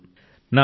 సవాలు ఎదురైంది